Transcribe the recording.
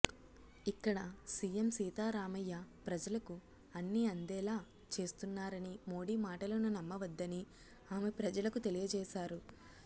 ఇక్కడ సీఎం సీతారామయ్య ప్రజలకు అన్ని అందేలా చేస్తున్నారని మోడీ మాటలను నమ్మవద్దని ఆమె ప్రజలకు తెలియ జేశారు